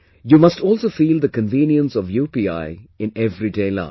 You must also feel the convenience of UPI in everyday life